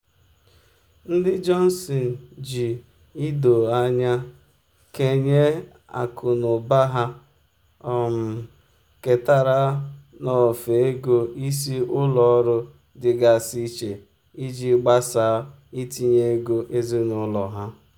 ndị johnson ji ido anya kenye akụnụba ha um ketara n'ofe ego isi ụlọ ọrụ dịgasị iche iji gbasaa itinye ego ezinụlọ ha.